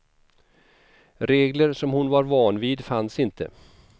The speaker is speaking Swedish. Regler som hon var van vid fanns inte.